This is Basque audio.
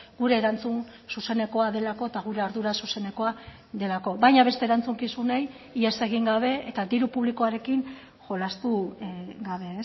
gure erantzun zuzenekoa delako eta gure ardura zuzenekoa delako baina beste erantzukizunei ihes egin gabe eta diru publikoarekin jolastu gabe